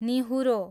निहुरो